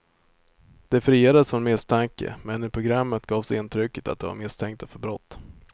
De friades från misstanke, men i programmet gavs intrycket att de var misstänkta för brott.